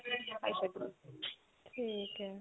ਠੀਕ ਏ